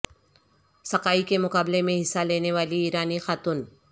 sky کے مقابلے میں حصہ لینے والی ایرانی خاتون